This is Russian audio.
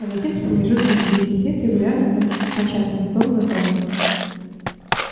а затем с промежутками в десять лет регулярно как по часом том за томом